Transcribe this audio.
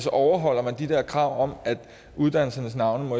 overholder man de der krav om at uddannelsernes navne